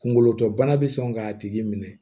Kunkolo tɔ bana bɛ sɔn k'a tigi minɛ